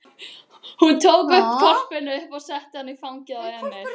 Hún tók hvolpinn upp og setti í fangið á Emil.